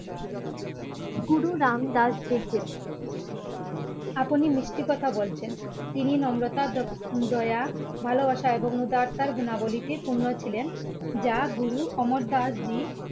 গুরু রাম দাস দিক্ষিত আপনি মিস্টি কথা বলছেন তিনি নম্রতা দ দয়া ভালোবাসা উদারতার গুণাবলিতে পুণ্য ছিলেন যা গুরু অমর দাস জীর